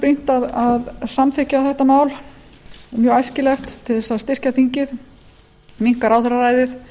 brýnt að samþykkja þetta mál mjög æskilegt til að styrkja þingið minnka ráðherraræðið